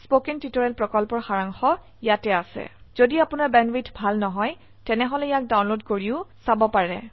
কথন শিক্ষণ প্ৰকল্পৰ সাৰাংশ ইয়াত আছে যদি আপোনাৰ বেণ্ডৱিডথ ভাল নহয় তেনেহলে ইয়াক ডাউনলোড কৰি চাব পাৰে